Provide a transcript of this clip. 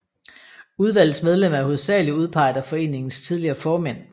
Udvalgets medlemmer er hovedsagelig udpeget af foreningens tidligere formænd